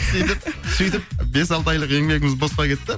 сөйтіп сөйтіп бес алты айлық еңбегіміз босқа кетті